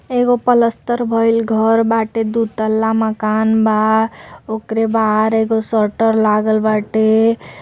एगो प्लस्तर भइल घर बाटे। दू तल्ला मकान बा। ओकरे बाहर एगो शटर लागल बाटे |